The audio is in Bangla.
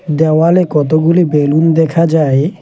দেওয়ালে কতগুলি বেলুন দেখা যায়।